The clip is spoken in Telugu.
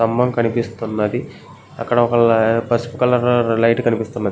స్తంభం కనిపిస్తున్నది. అక్కడ ఒక పసుపు కలరు లైట్ కనిపిస్తున్నది.